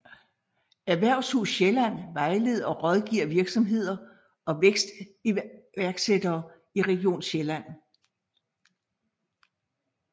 Erhvervshus Sjælland vejleder og rådgiver virksomheder og vækstiværksættere i region Sjælland